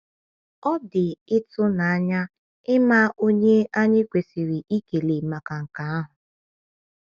Ọ dị ịtụnanya ịma onye anyị kwesịrị ịkele maka nke ahụ.